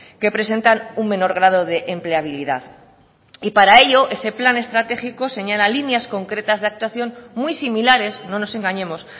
que presentan un menor grado de empleabilidad y para ello ese plan estratégico señala líneas concretas de actuación muy similares no nos engañemos